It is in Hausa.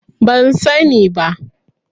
Ban sani ba.